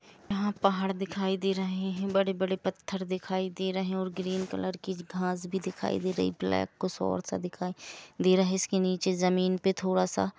यहा पहाड़ दिखाई दे रहे है बड़े बड़े पत्थर दिखाई दे रहे हैऔर ग्रीन कलर की घास भी दिखाई दे रही है ब्लैक कुछ और सा दिखाई दे रहा है इसके नीचे जमीन पे थोड़ा सा--